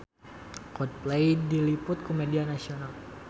Coldplay diliput ku media nasional